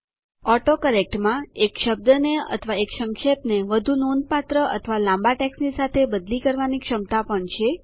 autocorrect માં એક શબ્દને અથવા એક સંક્ષેપને વધુ નોંધપાત્ર અથવા લાંબા ટેક્સ્ટની સાથે બદલી કરવાની ક્ષમતા પણ છે